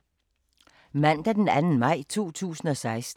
Mandag d. 2. maj 2016